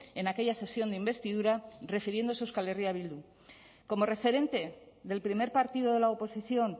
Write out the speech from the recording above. en aquella sesión de investidura refiriéndose a euskal herria bildu como referente del primer partido de la oposición